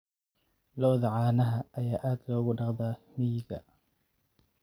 Lo'da caanaha ayaa aad loogu dhaqdaa miyiga.